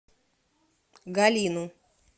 галину